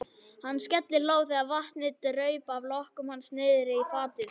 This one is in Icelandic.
Hann skellihló þegar vatnið draup af lokkum hans niðrí fatið.